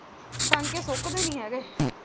ਟੰਕੇ ਸੁੱਕਦੇ ਨਹੀਂ ਹੈਗੇ।